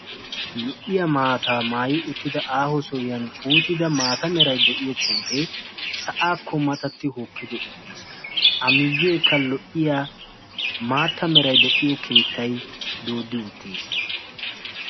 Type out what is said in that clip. Lo"iyaa maata maayyi uttida sohuwan puuttida maata meray de'iyo puute sa'akko matatti uttiis. I miyyekka lo"iyaa maata meray keettay doodi uttiis.